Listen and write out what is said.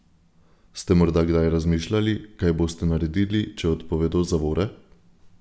Ste morda kdaj razmišljali, kaj boste naredili, če odpovedo zavore?